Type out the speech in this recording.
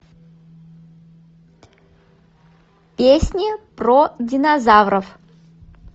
песни про динозавров